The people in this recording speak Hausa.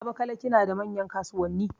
Abakalaki na da manyan kasuwanni.